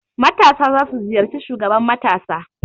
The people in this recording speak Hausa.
Matasa za su ziyarci shugaban matasa.